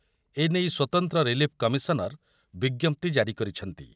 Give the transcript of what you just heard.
ଏନେଇ ସ୍ୱତନ୍ତ୍ର relief commissioner ବିଜ୍ଞପ୍ତି ଜାରି କରିଛନ୍ତି ।